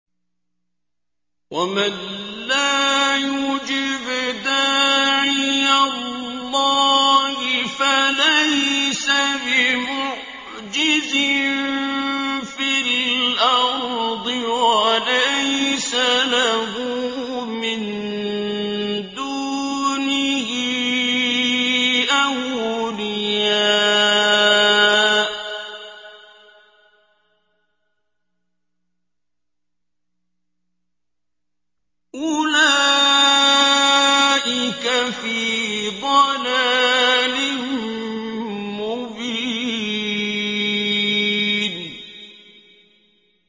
وَمَن لَّا يُجِبْ دَاعِيَ اللَّهِ فَلَيْسَ بِمُعْجِزٍ فِي الْأَرْضِ وَلَيْسَ لَهُ مِن دُونِهِ أَوْلِيَاءُ ۚ أُولَٰئِكَ فِي ضَلَالٍ مُّبِينٍ